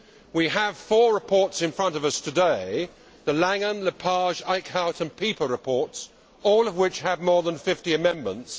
We have four reports in front of us today the Langen, Lepage, Eickhout and Pieper reports all of which have more than 50 amendments.